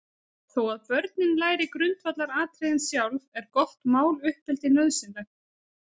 Þó að börnin læri grundvallaratriðin sjálf, er gott máluppeldi nauðsynlegt.